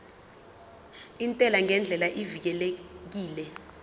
intela ngendlela evikelekile